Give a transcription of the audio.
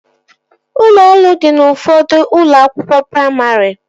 Ụlọ elu dị n'ụfọdụ ụlọ akwụkwọ praimarị